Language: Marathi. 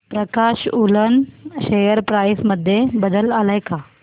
प्रकाश वूलन शेअर प्राइस मध्ये बदल आलाय का